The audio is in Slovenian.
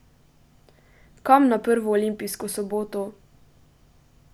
Kam na prvo olimpijsko soboto?